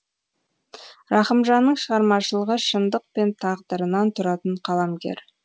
рахымжанның шығармашылығы шындық пен тағдырынан тұратын қаламгер